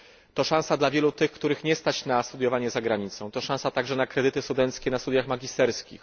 To szansa dla wielu tych, których nie stać na studiowanie za granicą. To szansa także na kredyty studenckie na studiach magisterskich.